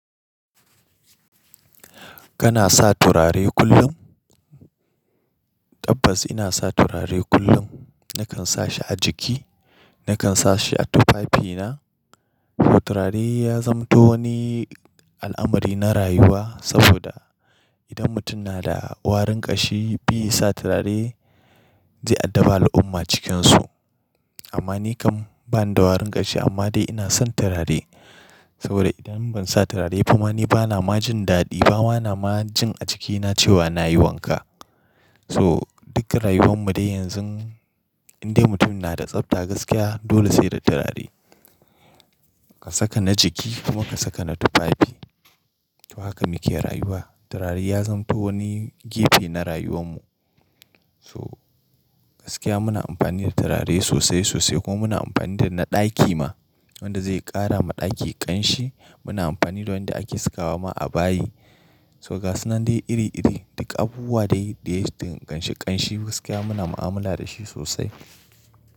Kana sa turare kullum? Tabbas ina sa turare kullum. Nakan sa shi a jiki, nakan sa shi a tufafina. Turare ya zamanto wani al'amari na rayuwa saboda idan mutum na da warin ƙashi, bai sa turare zai addabi al'umma cikinsu. Amma ni kam bani da warin ƙashi amma dai ina son turare. Saboda idan ban sa turare ba ma ni bana majin daɗi, ba ma na majin a jikina cewa na yi wanka. So dukkan rayuwan mu dai yanzu, indai mutum na da tsafta gaskiya dole sai da turare. Ka saka na jiki kuma ka saka na tufafi. To haka muke rayuwa. Turare ya zamanto wani gefe na rayuwan mu. So gaskiya muna amfani da turare sosai sosai kuma muna amfani da na ɗaki ma wanda zai ƙara ma ɗaki ƙanshi. Muna amfani da wanda ake sakawa ma a bayi. To ga sunan dai iri iri, duk abubuwa dai da ya danganci ƙanshi gaskiya muna mu'amala da shi sosai.